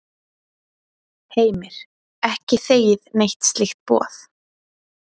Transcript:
Heimir: Ekki þegið neitt slíkt boð?